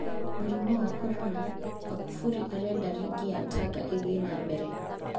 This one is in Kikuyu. Mũrimũ wa Korona: Makufuri arenda rigi ya Tanga ĩthiĩ na mbere.